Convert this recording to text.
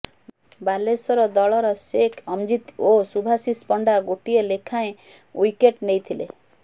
ବାଲେଶ୍ୱର ଦଳର ସେକ୍ ଅମ୍ଜିତ ଓ ସୁଭାଶିଷ ପଣ୍ଡା ଗୋଟିଏ ଲେଖାଏଁ ଉଇକେଟ ନେଇଥିଲେ